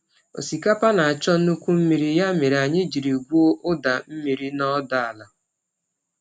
Osikapa na achọ nnukwu mmiri ya mere anyị jiri gwuo ụda mmiri na ọdọ ala.